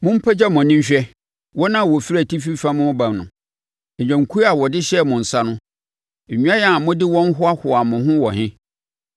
Mo mpagya mo ani nhwɛ wɔn a wɔfiri atifi fam reba no. Nnwankuo a wɔde hyɛɛ mo nsa no, nnwan a mode wɔn hoahoaa mo ho wɔ he?